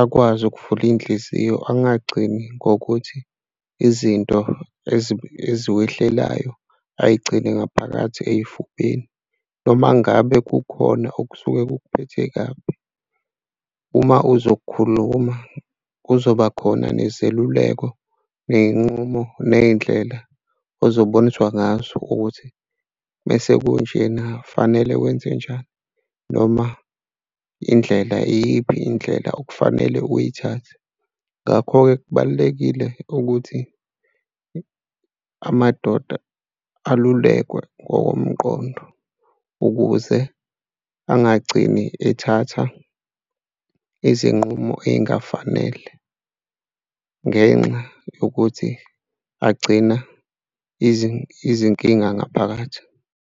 akwazi ukuvula iy'nhliziyo angagcini ngokuthi izinto ezikwehlelayo ay'gcine ngaphakathi ey'fubeni. Noma ngabe kukhona okusuke kukuphethe kabi, uma uzokukhuluma, kuzoba khona nezeluleko ney'nqumo ney'ndlela ozoboniswa ngazo ukuthi uma sekunjena kufanele wenze njani? Noma indlela iyiphi indlela okufanele uyithathe? Ngakho-ke kubalulekile ukuthi amadoda alulekwe ngokomqondo ukuze angagcini ethatha izinqumo ey'ngafanele ngenxa yokuthi agcina izinkinga ngaphakathi.